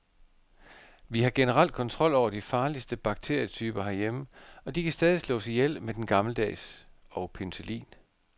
Vi har generelt kontrol over de farligste bakterietyper herhjemme, og de kan stadig slås ihjel med den gammeldags og penicillin.